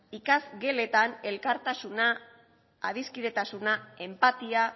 ikasgeletan elkartasuna adiskidetasuna enpatia